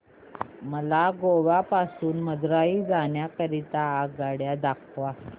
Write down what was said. मला गोवा पासून मदुरई जाण्या करीता आगगाड्या दाखवा